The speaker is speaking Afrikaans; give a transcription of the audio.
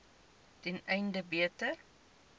ten einde beter